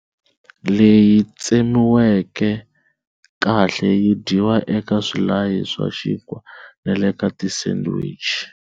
Leyi tsemiweke kahle yi dyiwa eka swilayi swa xinkwa na le ka ti sandwich.